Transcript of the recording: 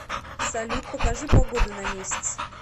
салют покажи погоду на месяц